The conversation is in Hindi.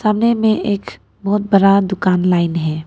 सामने में एक बहुत बड़ा दुकान लाइन है।